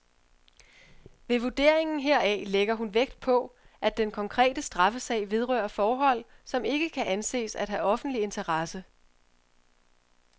Ved vurderingen heraf lægger hun vægt på, at den konkrete straffesag vedrører forhold, som ikke kan anses at have offentlig interesse.